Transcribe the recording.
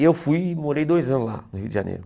E eu fui e morei dois anos lá no Rio de Janeiro.